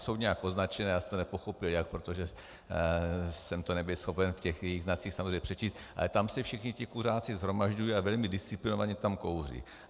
Jsou nějak označena, já jsem to nepochopil jak, protože jsem to nebyl schopen v těch jejich znacích samozřejmě přečíst, ale tam se všichni ti kuřáci shromažďují a velmi disciplinovaně tam kouří.